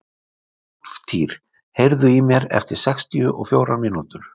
Úlftýr, heyrðu í mér eftir sextíu og fjórar mínútur.